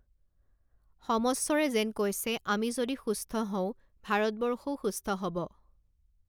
সমস্বৰে যেন কৈছে আমি যদি সুস্থ হও, ভাৰতবৰ্ষও সুস্থ হ'ব।